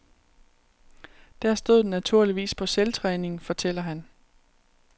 Der stod den naturligvis på selvtræning, fortæller han.